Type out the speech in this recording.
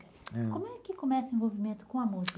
Como é que começa o envolvimento com a música?